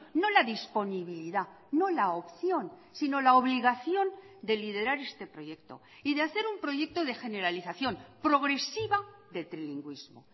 no la disponibilidad no la opción sino la obligación de liderar este proyecto y de hacer un proyecto de generalización progresiva de trilingüismo